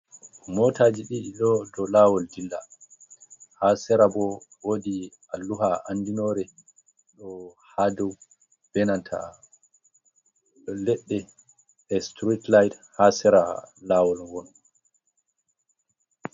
Motaji dii ɗo lawol dilla, ha sera bo wodi alluha andinore ɗo ha dou benanta leɗɗe e stretlide ha sera lawol won.